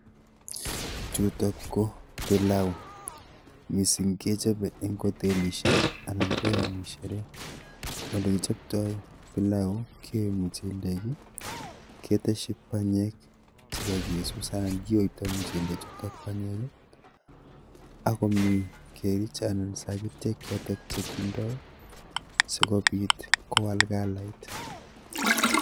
Chutok ko pilau, mising kechopei eng otelishek anan eng shere. Olekichoptoi pilau, kiyoi mchelek keteshi panyek chekakesus anan kiyoitoi mchelechutok panyek akomi kerich anyun sakitiek chotok chekindeoi asikopit kowal kalait.